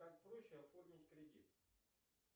как проще оформить кредит